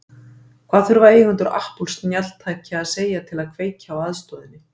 Hvað þurfa eigendur Apple snjalltækja að segja til að kveikja á aðstoðinni?